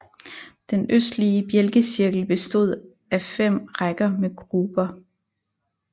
Den østlige bjælkecirkel bestod af fem rækker med gruber